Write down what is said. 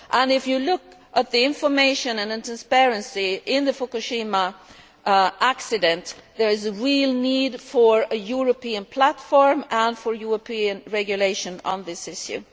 If you look at the information and the transparency in the Fukushima accident, there is a real need for a European platform and for European regulation on this issue.